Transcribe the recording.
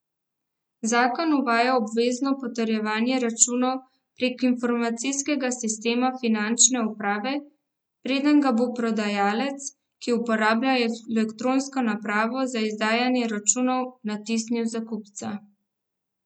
Zakon uvaja obvezno potrjevanje računov prek informacijskega sistema finančne uprave, preden ga bo prodajalec, ki uporablja elektronsko napravo za izdajanje računov, natisnil za kupca.